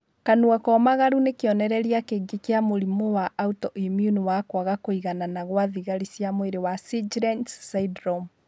Kanua komagaru nĩ kĩonereria kĩngĩ kĩa mũrimũ wa autoimmune wa kwaga kũiganana gwa thigari cia mwĩrĩ wa Sjgren's syndrome